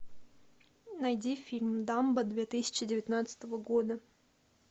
найди фильм дамбо две тысячи девятнадцатого года